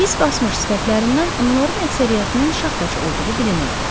Hiss basmış sifətlərindən onların əksəriyyətinin şaxtaçı olduğu bilinirdi.